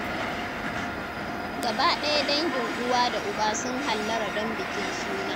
Gaba ɗaya dangin uwa da uba sun hallara don bikin suna.